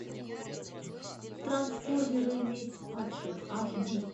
трансформеры месть падших аш ди